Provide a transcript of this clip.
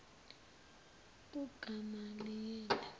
ugamaliyeli